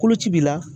Koloci b'i la